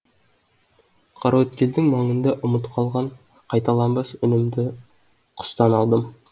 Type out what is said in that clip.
қараөткелдің маңында ұмыт қалған қайталанбас үнімді құстан алдым